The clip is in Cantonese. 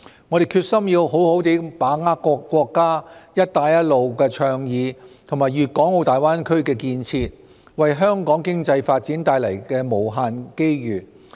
我們決心要好好把握國家"一帶一路"倡議和粵港澳大灣區建設為香港經濟發展帶來的無限機遇。